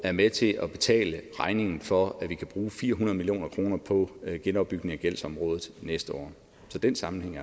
er med til at betale regningen for at vi kan bruge fire hundrede million kroner på genopbygning af gældsområdet næste år så den sammenhæng